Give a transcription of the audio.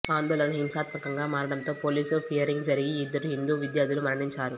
ఆందోళన హింసాత్మకంగా మారడంతో పోలీసు ఫయరింగ్ జరిగి యిద్దరు హిందూ విద్యార్థులు మరణించారు